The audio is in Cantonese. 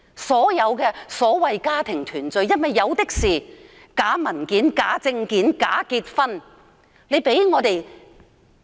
所謂的家庭團聚申請，涉及假文件、假證件、假結婚的個案比比皆是。